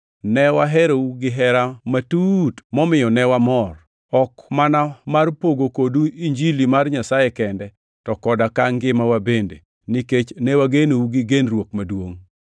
Ne waherou gihera matut momiyo ne wamor, ok mana mar pogo kodu Injili mar Nyasaye kende, to koda ka ngimawa bende, nikech ne wagenou gi genruok maduongʼ.